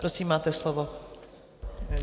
Prosím, máte slovo.